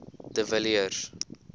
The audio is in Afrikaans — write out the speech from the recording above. de villiers